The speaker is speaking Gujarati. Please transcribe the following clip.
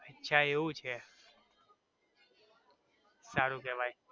અચ્છા એવું છે સારું કેવાઈ.